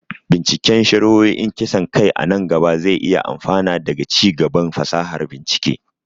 binciken shari'o'in kisan kai a nan gaba zai iya amfana daga ci gaban fasahar bincike.